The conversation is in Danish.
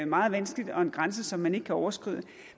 meget vanskeligt og en grænse som man ikke kan overskride